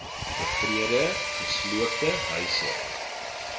beweerde gesloopte huise